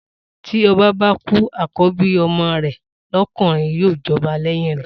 Tí ọba bá kú, àkọ́bí ọmọ rè lọkùnrin ni yíò jọba lẹ́yìn rè